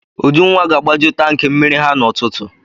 Ujunwa ga-agbaju tankị mmiri ha n'ụtụtụ.